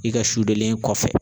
I ka len kɔfɛ